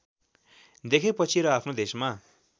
देखेपछि र आफ्नो देशमा